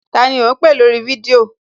Tani ò ń pè lórí fídíò?